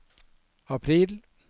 april